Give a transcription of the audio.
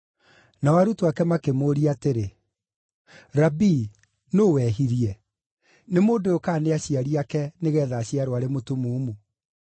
Nao arutwo ake makĩmũũria atĩrĩ, “Rabii, nũũ wehirie, nĩ mũndũ ũyũ kana nĩ aciari ake, nĩgeetha aciarwo arĩ mũtumumu?”